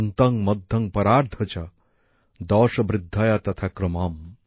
অন্ত্যং মধ্যং পরার্ধঃ চ দশ বৃদ্ধয়া তথা ক্রমম